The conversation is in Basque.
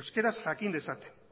euskaraz jakin dezaten